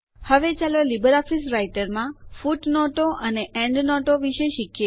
હવે ચાલો LibreOffice રાઈટરમાં ફૂટનોટો અને એન્ડનોટો વિશે શીખીએ